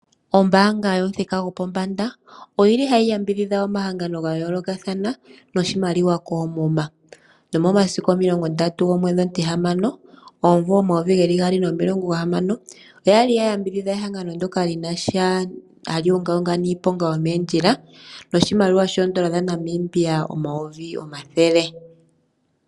Ombaanga yomuthika go pombanda oyili hayi yambidhidha omahangano ga yoolokathana noshimaliwa koomuma nomomasiku 30/06/2025 oyali ya ya mbidhidha ehangano ndoka li na sha nohayi ungaunga niiponga yomeendjila noshimaliwa sha Namibia omiliyona yimwe.